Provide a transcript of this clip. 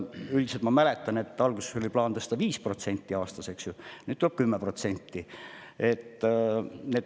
Üldiselt ma mäletan, et alguses oli plaan tõsta 5% aastas, nüüd tuleb 10%.